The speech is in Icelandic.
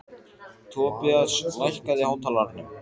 Tobías, lækkaðu í hátalaranum.